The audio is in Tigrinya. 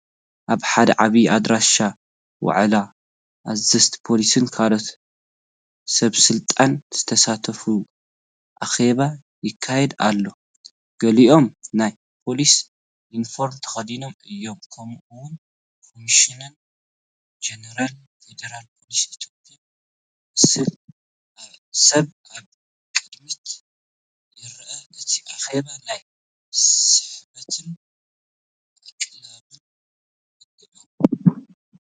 ኣብ ሓደ ዓቢይ ኣዳራሽ ዋዕላ፡ ኣዘዝቲ ፖሊስን ካልኦት ሰበስልጣንን ዝሳተፍዎ ኣኼባ ይካየድ ኣሎ። ገሊኦም ናይ ፖሊስ ዩኒፎርም ተኸዲኖም እዮም። ከምኡ’ውን ኮሚሽነር ጀነራል ፌደራል ፖሊስ ኢትዮጵያ ዝመስል ሰብ ኣብ ቅድሚት ይረአ። እቲ ኣኼባ ናይ ስሕበትን ኣቓልቦን እንሄዎ፡፡